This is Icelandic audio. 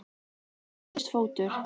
Og þá fæddist fótur.